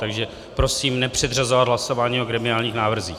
Takže prosím nepředřazovat hlasování o gremiálních návrzích.